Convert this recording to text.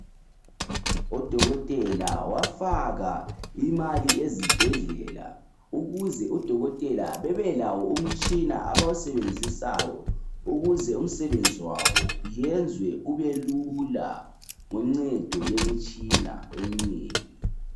Uhulumende wafaka imali ezibhedlela ukuze odokotela bebe lawo umtshina abawusebenzisayo ukuze umsebenzi wabo wenziwe ube lula ngoncedo lwemitshina eminengi.